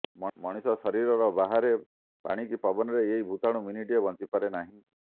ମଣିଷ ଶରୀର ବାହାରେ ପାଣି କି ପବନରେ ଏହି ଭୂତାଣୁ ମିନିଟିଏ ବଞ୍ଚି ପାରେ ନାହିଁ